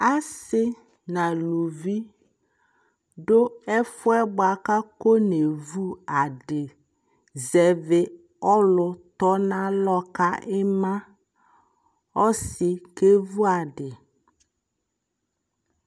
Asi na luvi du ɛfua bua ka kɔ na vʋ adιZɛvi ɔlu tɔ na lɔ ka ima Ɔsi kɛ vʋa adi